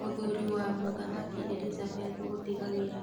Mũthuri wa mũthamaki Elizabeth gũtiga wĩra.